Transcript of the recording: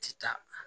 Ti taa